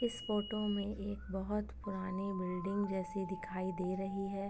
इस फोटो में एक बहुत पुरानी बिल्डिंग जैसी दिखाई दे रही हैं।